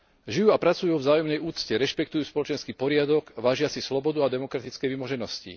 Žijú a pracujú vo vzájomnej úcte, rešpektujú spoločenský poriadok a vážia si slobodu a demokratické vymoženosti.